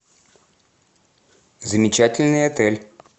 замечательный отель